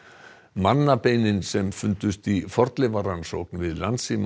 mannabeinin sem fundust í fornleifarannsókn við